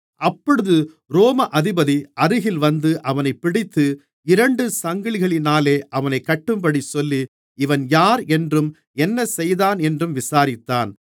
அப்பொழுது ரோம அதிபதி அருகில் வந்து அவனைப் பிடித்து இரண்டு சங்கிலிகளினாலே அவனைக் கட்டும்படி சொல்லி இவன் யார் என்றும் என்ன செய்தான் என்றும் விசாரித்தான்